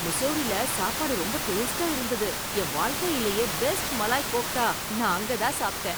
முசோரில சாப்பாடு ரொம்ப டேஸ்ட்டா இருந்தது. என் வாழ்க்கையிலேயே பெஸ்ட் மலாய் கோஃப்தா நான் அங்கதான் சாப்பிட்டேன்.